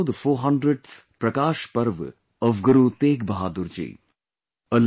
There is also the 400th Prakash Parv of Guru Tegh Bahadur ji